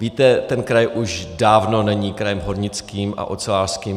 Víte, ten kraj už dávno není krajem hornickým a ocelářským.